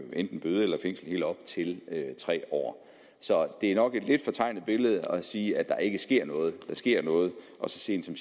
enten bøde eller fængsel i helt op til tre år så det er nok et lidt fortegnet billede at sige at der ikke sker noget der sker noget og så sent som